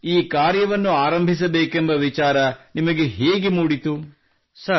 ಹಾಗೂ ಈ ಕಾರ್ಯವನ್ನು ಆರಂಭಿಸಬೇಕೆಂಬ ವಿಚಾರ ನಿಮಗೆ ಹೇಗೆ ಮೂಡಿತು